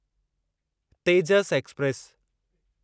Tejas express